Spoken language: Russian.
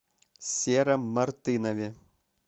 сером мартынове